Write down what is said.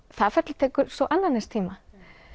það ferli tekur svo annan eins tíma